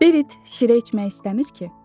Berit şirə içmək istəmir ki?